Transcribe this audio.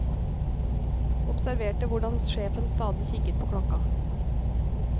Observerte hvordan sjefen stadig kikket på klokka.